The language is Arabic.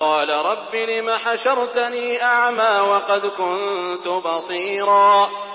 قَالَ رَبِّ لِمَ حَشَرْتَنِي أَعْمَىٰ وَقَدْ كُنتُ بَصِيرًا